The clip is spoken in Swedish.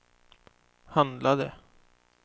handlade